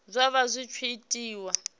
zwa vha zwi tshi itiwa